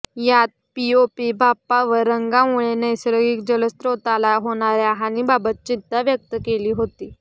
यात पीओपी बाप्पा व रंगामुळे नैसर्गिक जलस्त्रोताला होणाऱ्या हानीबाबत चिंता व्यक्त केली होती